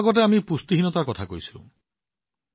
অলপ আগতে আমি পুষ্টিহীনতাৰ বিষয়ে কথা পাতিছো